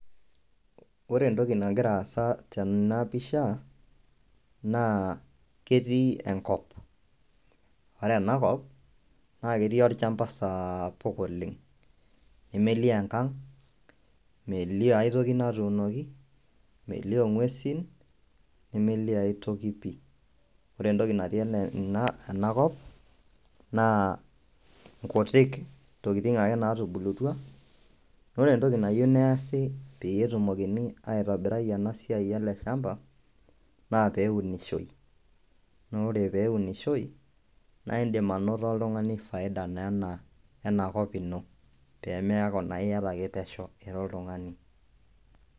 Ore entoki nagira aasa tena pishaa naa ketii enkop, ore ena kop naa ketii ilchamba saapuk oleng, nemeilio enkang, meilio aitoki natuunoki, meilio inguesin, nemeilio aitoki pii. Ore entoki natii enakop naa nkutiik tokitin ake iye naatubulutwa. ore entoki nayeu neasi peetumokini aitobira ena siaai e ale chamba, naa peunishoi, naa ore peunishoi naa indim anoto ltungani faida naa enaa kop ino pemeaku naake ieta pesheu ira ltungani.